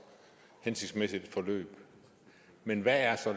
hensigtsmæssigt et forløb men hvad er så